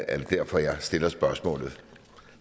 er derfor jeg stiller spørgsmålet